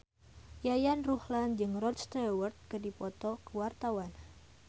Yayan Ruhlan jeung Rod Stewart keur dipoto ku wartawan